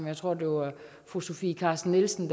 jeg tror det var fru sofie carsten nielsen